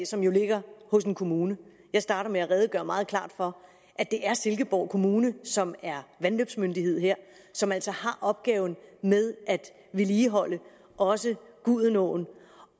som jo ligger hos en kommune jeg startede med at redegøre meget klart for at det er silkeborg kommune som er vandløbsmyndighed her som altså har opgaven med at vedligeholde også gudenåen